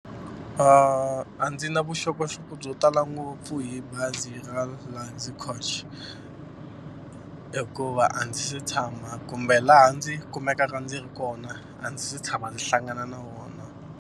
A ndzi na vuxokoxoko byo tala ngopfu hi bazi ra Luxy Coach hikuva a ndzi se tshama kumbe laha ndzi kumekaka ndzi ri kona a ndzi se tshama ndzi hlangana na wona.